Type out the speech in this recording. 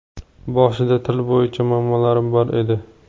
Boshida til bo‘yicha muammolarim bor edi.